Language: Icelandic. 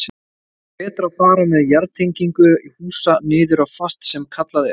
Er betra að fara með jarðtengingu húsa niður á fast sem kallað er?